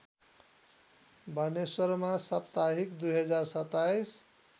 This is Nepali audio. बानेश्वरमा साप्ताहिक २०२७